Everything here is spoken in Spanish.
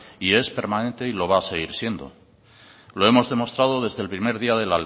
y es permanente y lo va a seguir siendo lo hemos demostrado desde el primer día de